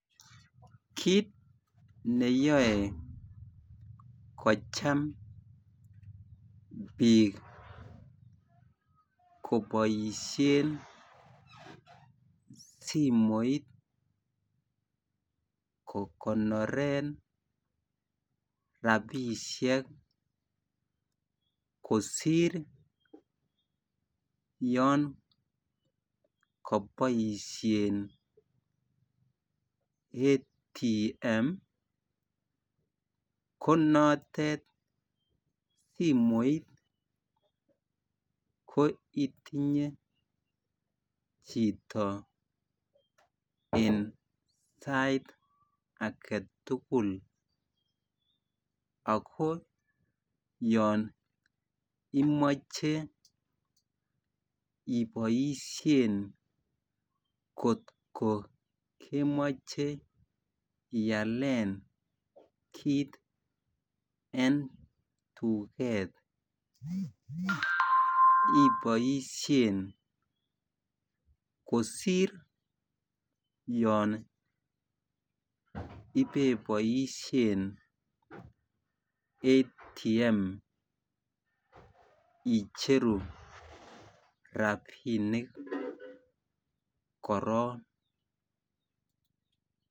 Kit ne yoe kocham bik koboisien simoit kogonoren rabisiek kosir yon koboisien ATM ko notet simoit ko itinye chito en sait age tugul ago yon imoche iboisien kotko kemoche ialen kit en tuget iboisien kosir yon ibe boisien ATM icheru rabinik korok